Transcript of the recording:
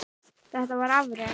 Þetta var afrek.